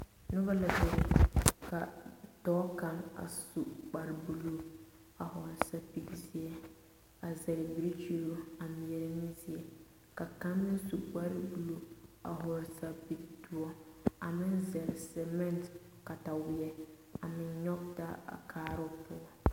Noba la bebe ka dɔɔ kaŋ a su kpare buluu a vɔgle sapili peɛle a zɛle birikyiri a meɛrɛ ne zie ka kaŋ meŋ su kpare buluu a vɔgle sapile doɔre a meŋ zɛle semete kataweɛ a meŋ nyɔge taa a kaara poɔ.